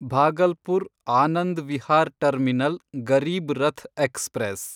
Bhagalpur Anand Vihar terminal Garib Rath express